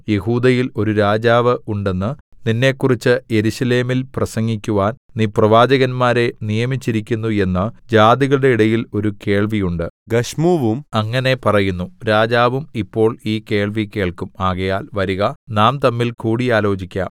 യെഹൂദയിൽ ഒരു രാജാവ് ഉണ്ടെന്ന് നിന്നെക്കുറിച്ച് യെരൂശലേമിൽ പ്രസംഗിക്കുവാൻ നീ പ്രവാചകന്മാരെ നിയമിച്ചിരിക്കുന്നു എന്ന് ജാതികളുടെ ഇടയിൽ ഒരു കേൾവി ഉണ്ട് ഗശ്മൂവും അങ്ങനെ പറയുന്നു രാജാവും ഇപ്പോൾ ഈ കേൾവി കേൾക്കും ആകയാൽ വരിക നാം തമ്മിൽ കൂടിയാലോചിക്കാം